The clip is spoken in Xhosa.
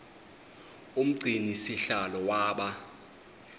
umgcini sihlalo waba